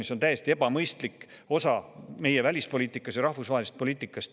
See on täiesti ebamõistlik meie välispoliitikas ja rahvusvahelises poliitikas.